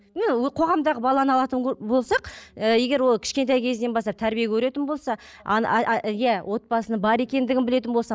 қоғамдағы баланы алатын болсақ ы егер ол кішкентай кезінен бастап тәрбие көретін болса иә отбасының бар екендігін білетін болса